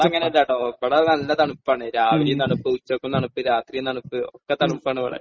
ഇവിടെ അങ്ങനെയല്ലാട്ടോ. ഇവിടെ നല്ല തണുപ്പാണ്. രാവിലെയും തണുപ്പ്, ഉച്ചയ്ക്കും തണുപ്പ്, രാത്രിയും തണുപ്പ്. ഒക്കെ തണുപ്പാണ് ഇവിടെ.